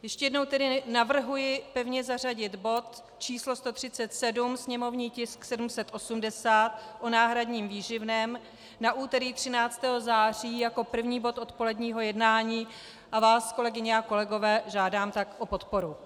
Ještě jednou tedy navrhuji pevně zařadit bod číslo 137, sněmovní tisk 780 o náhradním výživném, na úterý 13. září jako první bod odpoledního jednání a vás, kolegyně a kolegové, žádám tak o podporu.